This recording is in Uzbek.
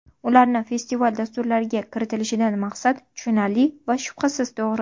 Ularni festival dasturlariga kiritilishidan maqsad tushunarli va shubhasiz to‘g‘ri.